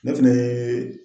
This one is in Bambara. Ne fɛnɛ ye